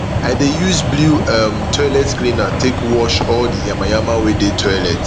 i dey use blew um toilet cleaner take wash all um di yama yama wey dey toilet